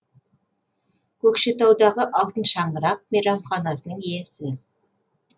көкшетаудағы алтын шаңырақ мейрамханасының иесі